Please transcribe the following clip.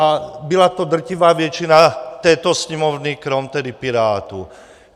A byla to drtivá většina této Sněmovny, krom tedy Pirátů.